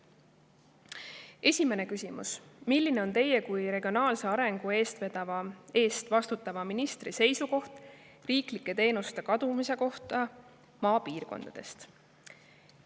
Esimene küsimus: "Milline on Teie kui regionaalse arengu eest vastutava ministri seisukoht riiklike teenuste kadumise osas maapiirkondadest?